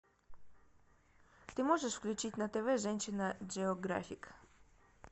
ты можешь включить на тв женщина джеографик